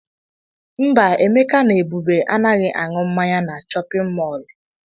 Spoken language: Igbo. Mba, Emeka na Ebube anaghị aṅụ mmanya na chọpịn mọọlụ.